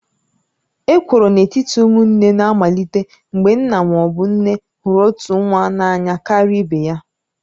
Ekworo n'etiti ụmụnne na-amalite mgbe nna ma ọ bụ nne hụrụ otu nwa n'anya karịa ibe ya